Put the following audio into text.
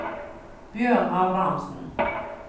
Bjørn Abrahamsen